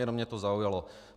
Jenom mě to zaujalo.